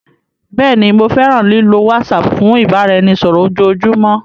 Bẹẹni, Mo fẹran lilo WhatsApp fun ibaraẹnisọrọ ojoojumọ.